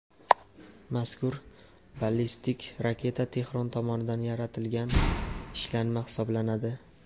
Mazkur ballistik raketa Tehron tomonidan yaratilgan ishlanma hisoblanadi.